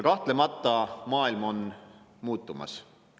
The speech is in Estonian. Kahtlemata, maailm on muutumas.